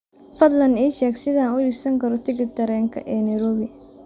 fadlan ii sheeg sida aan u iibsan karo tigidhka tareenka ee nairobi